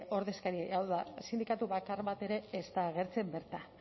ordezkariei hau da sindikatu bakar bat ere ez da agertzen bertan